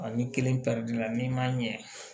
ni kelen pɛrɛnna n'i ma ɲɛ